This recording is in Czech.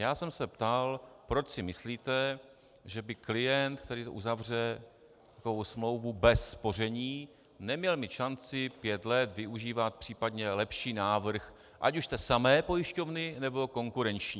Já jsem se ptal, proč si myslíte, že by klient, který uzavře takovou smlouvu bez spoření, neměl mít šanci pět let využívat případně lepší návrh, ať už té samé pojišťovny, nebo konkurenční.